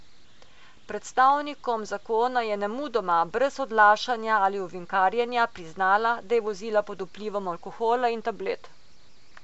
Predstavnikom zakona je nemudoma, brez odlašanja ali ovinkarjenja, priznala, da je vozila pod vplivom alkohola in tablet.